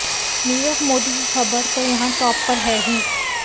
नीरव मोदी की खबर तो यहां टॉप पर है ही